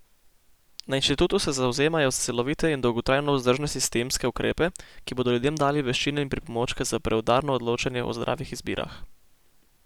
Na inštitutu se zavzemajo za celovite in dolgotrajno vzdržne sistemske ukrepe, ki bodo ljudem dali veščine in pripomočke za preudarno odločanje o zdravih izbirah.